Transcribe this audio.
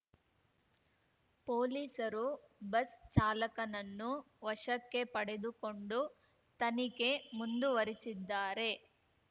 ಪೊಲೀಸರು ಬಸ್‌ ಚಾಲಕನನ್ನು ವಶಕ್ಕೆ ಪಡೆದುಕೊಂಡು ತನಿಖೆ ಮುಂದುವರಿಸಿದ್ದಾರೆ